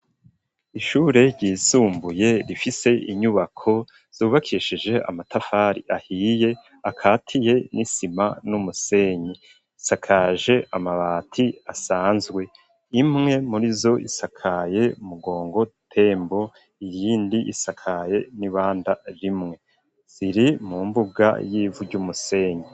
Ishure ryisumbuye rifise inyubako zubakeshije amatafari ahiye akatiye n'isima n'umusenyi, isakaje amabati asanzwe imwe muri zo isakaye mugongo tembo iyindi isakaye n'ibanda rimwe ziri mu mbuga y'ivu ry'umusenyi.